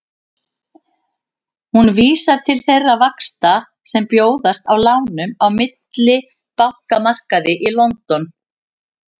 Hún vísar til þeirra vaxta sem bjóðast á lánum á millibankamarkaði í London.